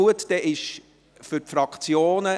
– Zuerst die Fraktionen.